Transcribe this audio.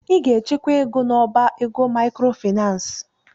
Ị ga-echekwa ego n'ọbá ego maịkrofaịnans!